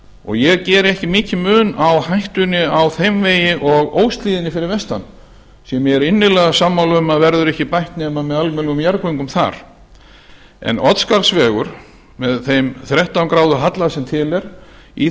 og ég geri ekki mikinn mun á hættunni á þeim vegi og óshlíðinni fyrir vestan sem ég er innilega sammála um að verður ekki bætt nema almennilegum jarðgöngum þar en oddsskarðsvegur með þeim þrettán gráðu halla sem til er í